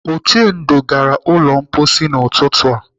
Uchendu gara m ụlọ mposi n'ụtụtụ a.